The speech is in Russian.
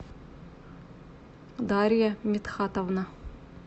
дарья митхатовна